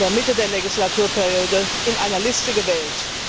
in der Mitte der Legislaturperiode in einer Liste gewählt.